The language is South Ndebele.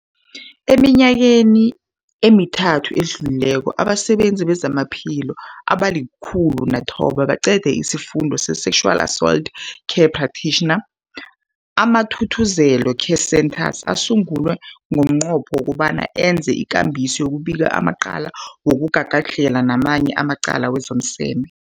Eminyakeni emithathu edluleko, abasebenzi bezamaphilo abali-106 baqede isiFundo se-Sexual Assault Care Practitioners. AmaThuthuzela Care Centres asungulwa ngomnqopho wokobana enze ngcono ikambiso yokubika amacala wokugagadlhela namanye amacala wezomseme.